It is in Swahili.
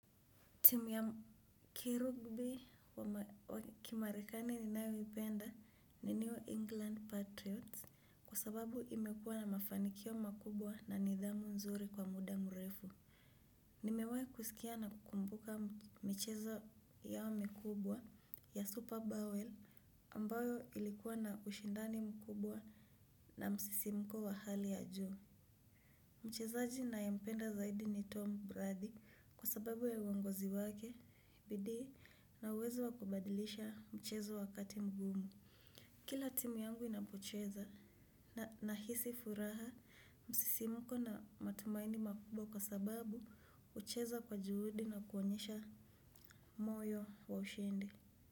Timu ya kirugby wa kimarekani ninayoipenda ni new England Patriots kwa sababu imekuwa na mafanikio makubwa na nidhamu nzuri kwa muda mrefu. Nimewahi kuskia na kukumbuka michezo yao mikubwa ya Super Bowl ambayo ilikuwa na ushindani mkubwa na msisimko wa hali ya juu. Mchezaji ninayempenda zaidi ni Tom Brady kwa sababu ya uongozi wake, bidii na uwezo wa kubadilisha mchezo wakati mgumu. Kila timu yangu inapocheza na hisi furaha msisimuko na matumaini makubwa kwa sababu hucheza kwa juhudi na kuonyesha moyo wa ushindi.